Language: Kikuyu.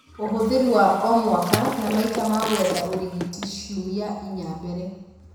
Ũhũthĩri wa o-mwaka, na maita ma gwetha ũrigiti ciumia inya mbele